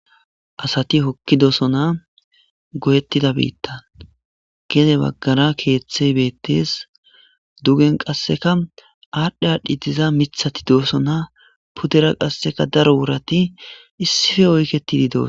Asathi hokkidosona goyeththida biiththan; gede baggara keeththey beeththees; dugen qassika aadhdhi aadhdhi diza miththathi doosona; pudeera qassika daro worathi issi oykeththi doosona.